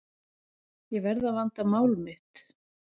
Ég verð að vanda mál mitt.